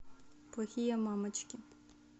плохие мамочки